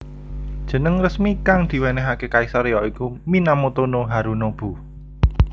Jeneng resmi kang diwenehake kaisar ya iku Minamoto no Harunobu